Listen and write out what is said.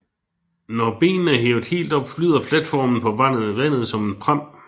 Når benene er hævet helt op flyder platformen på vandet som en pram